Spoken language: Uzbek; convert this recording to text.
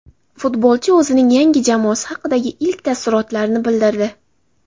Futbolchi o‘zining yangi jamoasi haqida ilk taassurotlarini bildirdi.